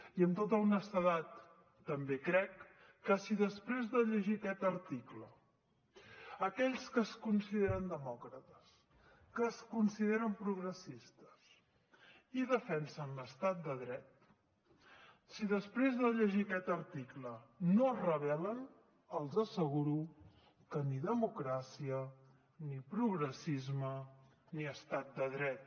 i amb tota honestedat també crec que si després de llegir aquest article aquells que es consideren demòcrates que es consideren progressistes i defensen l’estat de dret si després de llegir aquest article no es rebel·len els asseguro que ni democràcia ni progressisme ni estat de dret